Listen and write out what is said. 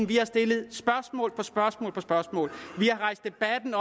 vi har stillet spørgsmål på spørgsmål på spørgsmål vi har rejst debatten